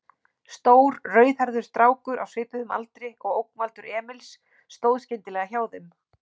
Stór, rauðhærður strákur á svipuðum aldri og ógnvaldar Emils stóð skyndilega hjá þeim.